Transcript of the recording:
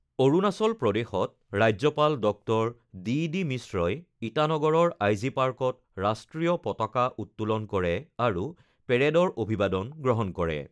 অৰুণাচল প্ৰদেশত ৰাজ্যপাল ডঃ ডিডি মিশ্ৰই ইটানগৰৰ আই জি পাৰ্কত ৰাষ্টীয় পতাকা উত্তোলন কৰে আৰু পেৰেডৰ অভিবাদন গ্ৰহণ কৰে।